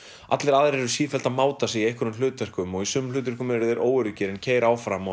allir aðrir eru sífellt að máta sig í einhverjum hlutverkum og í sumum hlutverkum eru þeir óöruggir en keyra áfram